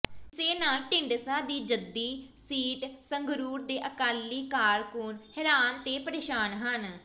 ਇਸੇ ਨਾਲ ਢੀਂਡਸਾ ਦੀ ਜੱਦੀ ਸੀਟ ਸੰਗਰੂਰ ਦੇ ਅਕਾਲੀ ਕਾਰਕੁੰਨ ਹੈਰਾਨ ਤੇ ਪਰੇਸ਼ਾਨ ਹਨ